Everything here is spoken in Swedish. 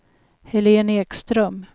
Helén Ekström